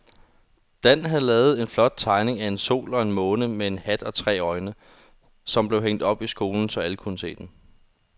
Dan havde lavet en flot tegning af en sol og en måne med hat og tre øjne, som blev hængt op i skolen, så alle kunne se den.